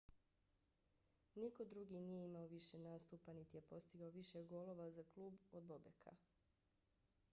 niko drugi nije imao više nastupa niti je postigao više golova za klub od bobeka